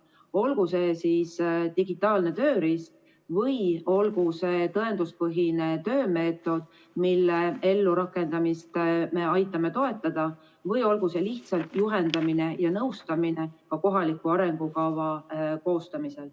Olgu see digitaalne tööriist või tõenduspõhine töömeetod, mille ellurakendamist me aitame toetada, või lihtsalt juhendamine ja nõustamine kohaliku arengukava koostamisel.